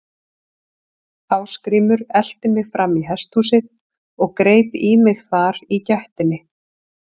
Ásgrímur elti mig fram í hesthúsið og greip í mig þar í gættinni.